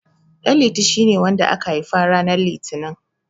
Ɗanliti shine wanda aka haifa ranar Litinin.